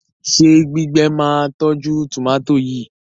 ṣe gbígbé má tọjú tomati yí?